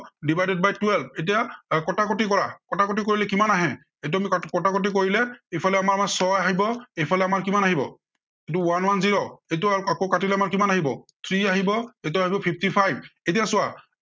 divided by twelve এতিয়া আহ কটাকটি কৰা। কটাকটি কৰিলে কিমান আহে, এইটো আমি কটাকটি কৰিলে ইফালে আমাৰ, আমাৰ ছয় আহিব, ইফালে আমাৰ কিমান আহিব? এইটো one one zero এইটো আকৌ কাটিলে আমাৰ কিমান আহিব? three আহিব এইটো আহিব fifty five এতিয়া চোৱা